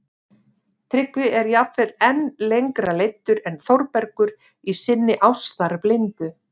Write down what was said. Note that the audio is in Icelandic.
Tryggvi er jafnvel enn lengra leiddur en Þórbergur í sinni ástarblindu